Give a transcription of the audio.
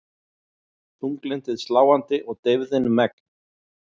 Þunglyndið sláandi og deyfðin megn.